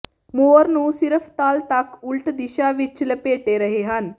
ਮੌਰ ਨੂੰ ਸਿਰਫ਼ ਤਲ ਤੱਕ ਉਲਟ ਦਿਸ਼ਾ ਵਿੱਚ ਲਪੇਟੇ ਰਹੇ ਹਨ